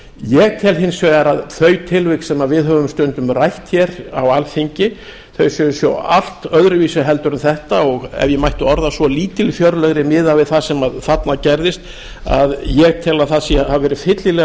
ég tel hins vegar að þau tilvik sem við höfum stundum rætt á alþingi séu svo allt öðruvísi heldur en þetta og ef ég mætti orða það svo lítilfjörlegri miðað við þetta sem þarna gerðist að ég tel að það hafi verið fyllilega